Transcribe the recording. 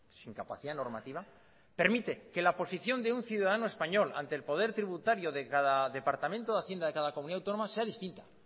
sin capacidad normativa permite que la posición de un ciudadano español ante el poder tributario de cada departamento de hacienda de cada comunidad autónoma sea distinta